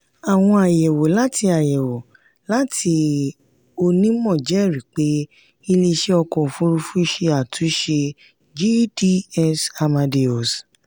àwọn ayẹwo láti ayẹwo láti onímọ̀ jẹ́rìí pé iléeṣẹ́ ọkọ̀ òfurufú ṣe àtúnṣe gds amadeus.